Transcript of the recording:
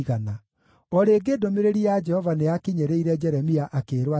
O rĩngĩ ndũmĩrĩri ya Jehova nĩyakinyĩrĩire Jeremia akĩĩrwo atĩrĩ,